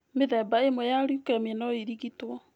Mĩthemba ĩmwe ya leukemia no ĩrigitwo.